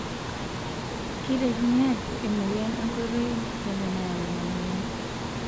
Keitekini ajo emoyian enkoitoi enkijiepe nayau ena moyian.